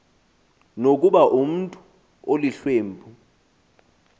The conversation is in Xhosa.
nokuba umntu olihlwempu